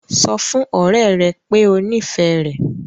Sọ fún ọ̀rẹ́ rẹ pé o nífẹ̀ẹ́ rẹ̀!